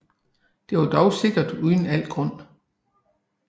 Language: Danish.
Det var dog sikkert uden al grund